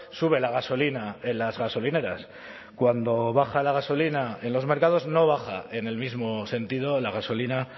sube la gasolina en las gasolineras cuando baja la gasolina en los mercados no baja en el mismo sentido la gasolina